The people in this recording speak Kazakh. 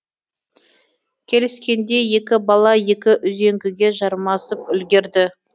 келіскендей екі бала екі үзеңгіге жармасып үлгерді